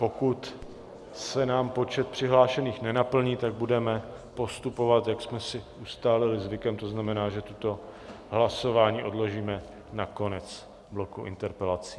Pokud se nám počet přihlášených nenaplní, tak budeme postupovat, jak jsme si ustálili zvykem, to znamená, že toto hlasování odložíme na konec bloku interpelací.